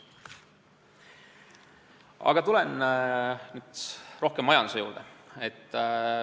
Aga tulen nüüd rohkem majanduse juurde.